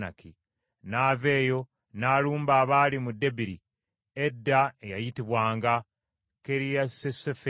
N’ava eyo n’alumba abaali mu Debiri, edda eyayitibwanga Kiriasuseferi.